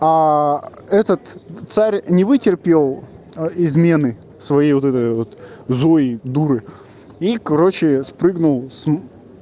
этот царь не вытерпел измены своей вот этой вот злой дуры и короче спрыгнул с